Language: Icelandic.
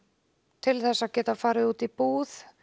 til þess að geta farið út í búð